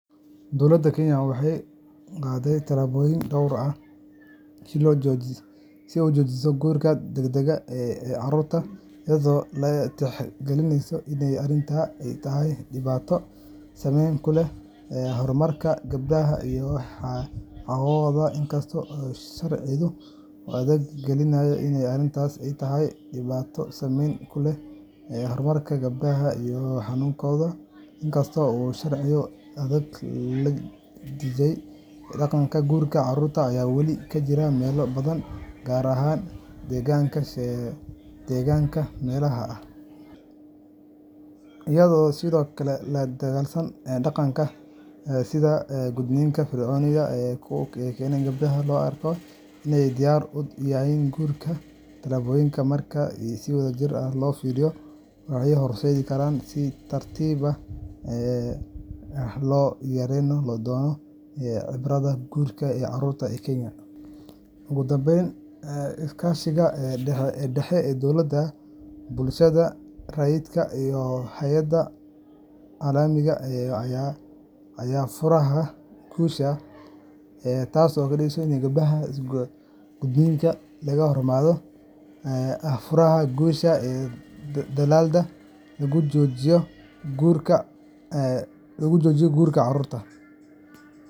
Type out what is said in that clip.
Dowladda Kenya waxay qaaday tallaabooyin dhowr ah si ay u joojiso guurka degdegga ah ee carruurta, iyadoo la tixgelinayo in arrintani ay tahay dhibaato culus oo saameyn ku leh horumarka iyo mustaqbalka gabdhaha yar yar. Marka hore, dowladda waxay dejisay sharciyo adag sida Xeerka Carruurta iyo Xeerka Guurka ee mamnuucaya in la guursado qof ka yar sided iyo toban sano. Waxa kale oo ay xoojisay wacyigelinta bulshada iyadoo lagu baraarujinayo waalidiinta iyo odayaasha dhaqanka khatarta iyo dhibaatooyinka ka dhasha guurka carruurta. Waxaa sidoo kale muhiim ah in dowladdu ay dhiirrigeliso waxbarashada gabdhaha iyadoo la siinayo taageerooyin waxbarasho si ay ugu sii nagaadaan dugsiyada halkii laga siin lahaa guri guur degdeg ah. Intaa waxaa dheer, dowladda waxay la shaqeysaa hay’ado maxalli ah iyo kuwo caalami ah si loo xoojiyo ololaha ka hortagga guurka carruurta, iyadoo sidoo kale la dagaallameysa dhaqamada sida gudniinka fircooniga ah ee keena in gabdhaha loo arko inay diyaar u yihiin guur. Tallaabooyinkan, marka si wadajir ah loo fuliyo, waxay horseedi karaan in si tartiib tartiib ah loo yareeyo loona ciribtiro guurka carruurta ee Kenya. Waxaa muhiim ah in la xoojiyo dadaallada sharci dejinta iyo in la kordhiyo wacyigelinta bulshada gaar ahaan meelaha miyiga ah ee dhaqamadaasi ku badan yihiin. Sidoo kale, in la sameeyo barnaamijyo dhaqan celin ah oo lagu dhiirrigeliyo gabdhaha iyo qoysaskooda in waxbarashada la sii wato ayaa ah tallaabo muhiim ah. Ugu dambeyn, iskaashiga ka dhexeeya dowladda, bulshada rayidka, iyo hay’adaha caalamiga ah ayaa ah furaha guusha dadaallada lagu joojinayo guurka carruurta.